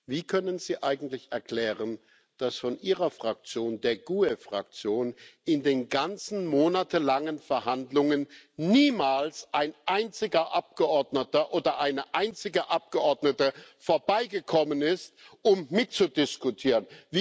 Wie können Sie eigentlich erklären, dass von Ihrer Fraktion, der GUE Fraktion, in den ganzen monatelangen Verhandlungen niemals ein einziger Abgeordneter oder eine einzige Abgeordnete vorbeigekommen ist, um mitzudiskutieren?